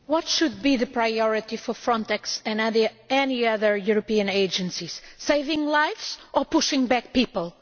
Madam President, what should be the priority for Frontex and any other European agencies? Saving lives or pushing back people?